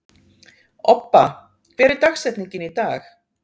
Obba, hver er dagsetningin í dag?